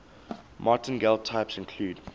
martingale types include